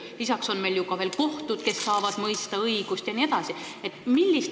Lisaks on ka veel kohtud, kes saavad mõista õigust, jne.